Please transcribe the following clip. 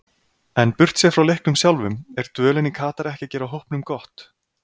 En burtséð frá leiknum sjálfum, er dvölin í Katar ekki að gera hópnum gott?